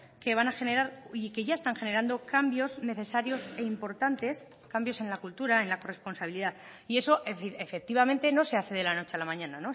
que van a generar y que ya están generando cambios necesarios e importantes cambios en la cultura en la corresponsabilidad y eso efectivamente no se hace de la noche a la mañana